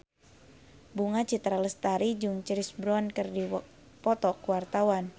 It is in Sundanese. Bunga Citra Lestari jeung Chris Brown keur dipoto ku wartawan